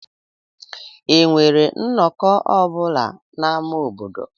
Enwere nnọkọ ọ bụla n'ámá obodo?